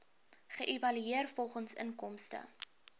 geëvalueer volgens inkomste